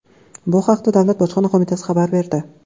Bu haqda Davlat bojxona qo‘mitasi xabar berdi .